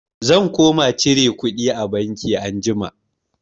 Zan koma cire kuɗi a banki anjima.